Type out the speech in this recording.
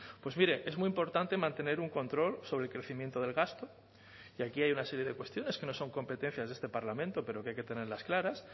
pues mire es muy importante mantener un control sobre el crecimiento del gasto y aquí hay una serie de cuestiones que no son competencias de este parlamento pero que hay que tenerlas claras